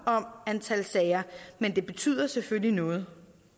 om antal sager men det betyder selvfølgelig noget